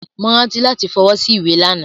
Mo rántí lati f'ọwọ́ sí ìwé lana.